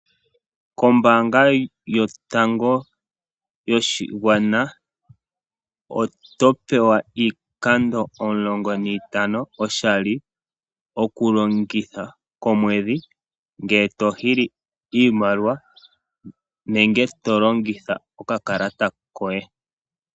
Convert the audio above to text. Koombanga yotango yoshigwana oto pewa iikando omulongo niitano oshali, okulongitha komweedhi ngee to hili iimaliwa nenge tolongitha okakalata koye.